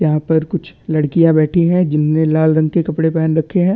यहाँ पर कुछ लड़किया बैठी है जिन्होंने लाल रंग इ कपड़े पेहन रखे है।